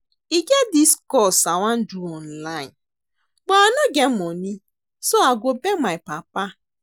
E get dis course I wan do online but I no get money so I go beg my papa